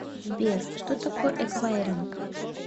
сбер что такое эквайринг